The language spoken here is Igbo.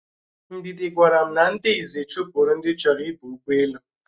Ndidi gwara m na ndị Izzi chụpụrụ ndi choro ịba ugboelu